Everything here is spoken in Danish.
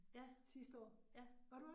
Ja, ja